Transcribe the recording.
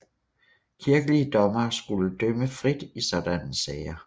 Kirkelige dommere skulle dømme frit i sådanne sager